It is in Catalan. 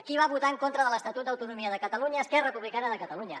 qui va votar en contra de l’estatut d’autonomia de catalunya esquerra republicana de catalunya